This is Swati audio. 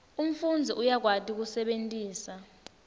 umfundzi uyakwati kusebentisa